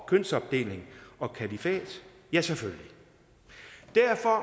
kønsopdeling og kalifat ja selvfølgelig derfor